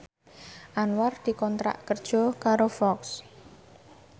Anwar dikontrak kerja karo Fox